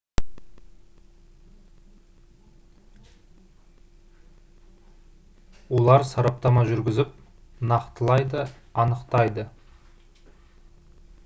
олар сараптама жүргізіп нақтылайды анықтайды